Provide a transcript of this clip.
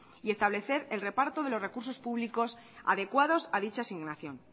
y establecer el reparto de los recursos públicos adecuados a dicha asignación